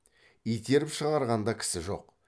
итеріп шығарған да кісі жоқ